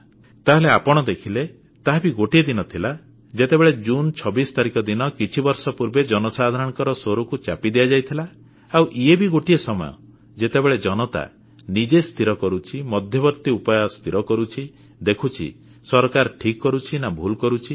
ତାହେଲେ ଆପଣ ଦେଖିଲେ ତାହା ବି ଗୋଟିଏ ଦିନ ଥିଲା ଯେତେବେଳେ ଜୁନ୍ 26 ତାରିଖ ଦିନ କିଛି ବର୍ଷ ପୂର୍ବେ ଜନସାଧାରଣଙ୍କ ସ୍ୱରକୁ ଚାପି ଦିଆଯାଇଥିଲା ଆଉ ଇଏ ବି ଗୋଟିଏ ସମୟ ଯେତେବେଳେ ଜନତା ନିଜେ ସ୍ଥିର କରୁଛି ମଧ୍ୟବର୍ତ୍ତି ଉପାୟ ସ୍ଥିର କରୁଛି ଦେଖୁଛି ସରକାର ଠିକ୍ କରୁଛି ନା ଭୁଲ କରୁଛି